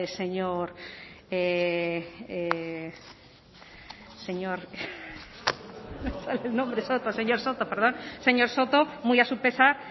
señor soto muy a su pesar